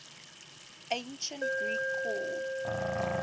ancient greek called